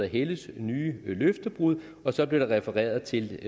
helles nye løftebrud og der blev refereret til